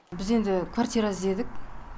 біз енді квартира іздедік